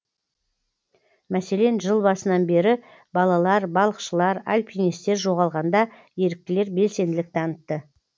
мәселен жыл басынан бері балалар балықшылар альпинистер жоғалғанда еріктілер белсенділік танытты